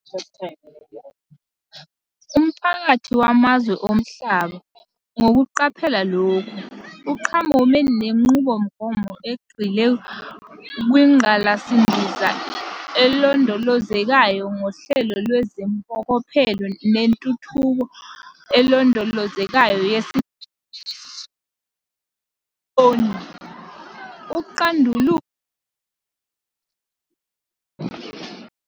Umphakathi wamazwe omhlaba, ngokuqaphela lokhu, uqhamume nenqubomgomo egxile kwingqalasizinda elondolozekayo ngohlelo lweziMpokophelo zeNtuthuko eLondolozekayo yesi-9 enesihloko esithi "IMboni, uCandululo neNgqalasizinda."